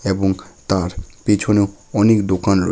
এবং তার পিছনেও অনেক দোকান রয়ে--